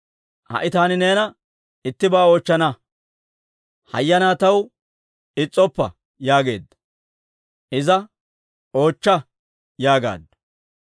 Ha"i taani neena ittibaa oochchana. Hayyanaa taw is's'oppa» yaageedda. Iza, «Oochcha» yaagaaddu.